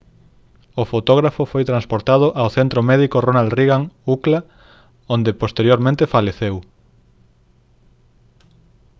o fotógrafo foi transportado ao centro médico ronald reagan ucla onde posteriormente faleceu